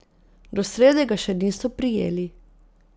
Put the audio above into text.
Do srede ga še niso prijeli.